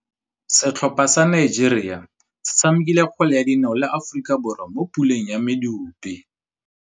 Setlhopha sa Nigeria se tshamekile kgwele ya dinaô le Aforika Borwa mo puleng ya medupe.